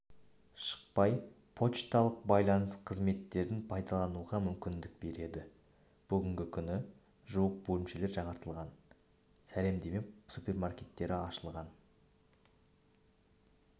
шықпай почталық байланыс қызметтерін пайдалануға мүмкіндік береді бүгінгі күні жуық бөлімше жаңартылып сәлемдеме супермаркеті ашылған